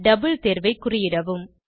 double தேர்வை குறியிடவும்